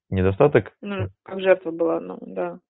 недостаток ну жертва была ну да